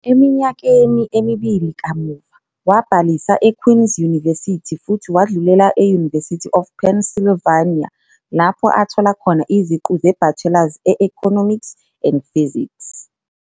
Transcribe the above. Eminyakeni emibili kamuva, wabhalisa eQueen's University futhi wadlulela e-University of Pennsylvania, lapho athola khona iziqu ze-bachelor's e-Economics and Physics.